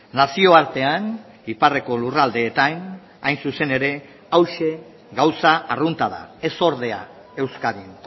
nazioartean iparreko lurraldeetan hain zuzen ere hauxe gauza arrunta da ez ordea euskadin